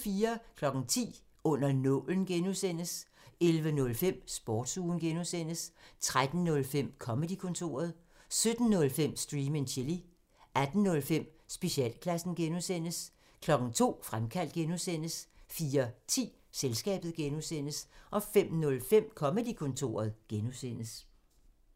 10:05: Under nålen (G) 11:05: Sportsugen 13:05: Comedy-kontoret 17:05: Stream and chill 18:05: Specialklassen (G) 02:00: Fremkaldt (G) 04:10: Selskabet (G) 05:05: Comedy-kontoret (G)